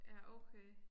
Ja okay